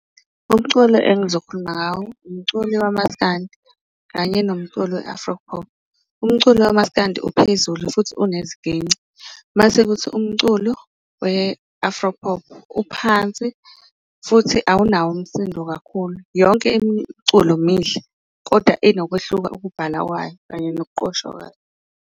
Umculo engizokhuluma ngawo umculo wamaskandi kanye nomculo we-afropop, umculo kamaskandi uphezulu futhi uneziginci, masekuthi umculo we-afropop uphansi futhi awunawo umsindo kakhulu. Yonke imiculo mihle kodwa inokwehluka ukubhalwa kwayo kanye nokuqoshwa kwayo.